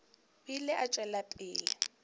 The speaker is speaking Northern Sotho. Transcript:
o ile a tšwela pele